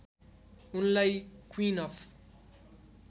उनलाई queen of